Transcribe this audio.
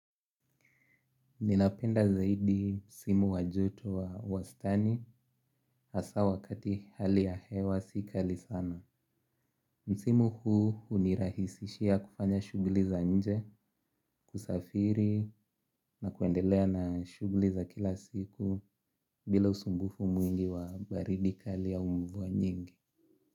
Ninapenda zaidi msimu wa joto wa wastani hasa wakati hali ya hewa si kali sana. Msimu huu unirahisishia kufanya shugli za nje, kusafiri na kuendelea na shugli za kila siku bila usumbufu mwingi wa baridi kali au mvuwa nyingi.